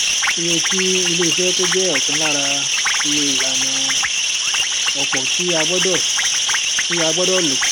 iye tí ilé iṣé tó jẹ ọkan lára iye ìlànà opo tí a gbọdọ tí a gbọdọ lò